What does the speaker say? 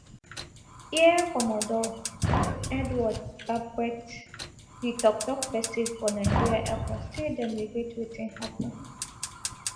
air commodore edward gabkwet di tok tok pesin for nigeria airforce say dem regret wetin happun